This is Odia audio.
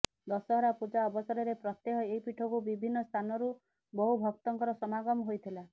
ଦଶହରା ପୂଜା ଅବସରରେ ପ୍ରତ୍ୟେହ ଏହି ପୀଠକୁ ବିଭିନ୍ନ ସ୍ଥାନରୁ ବହୁ ଭକ୍ତଙ୍କର ସମାଗମ ହୋଇଥିଲା